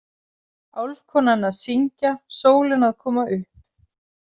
Álfkonan að synga, sólin að koma upp.